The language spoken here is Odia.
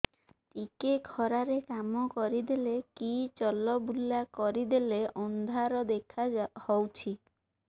ଟିକେ ଖରା ରେ କାମ କରିଦେଲେ କି ଚଲବୁଲା କରିଦେଲେ ଅନ୍ଧାର ଦେଖା ହଉଚି